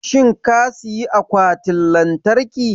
shin ka siyi Akwatin Lantarki?